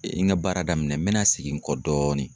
N ka baara daminɛ, n me na segin kɔ dɔɔni